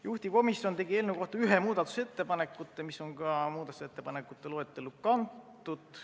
Juhtivkomisjon tegi eelnõu kohta ühte muudatusettepaneku, mis on ka ettepanekute loetellu kantud.